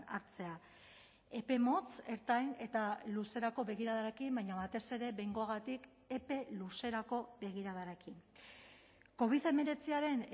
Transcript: hartzea epe motz ertain eta luzerako begiradarekin baina batez ere behingoagatik epe luzerako begiradarekin covid hemeretziaren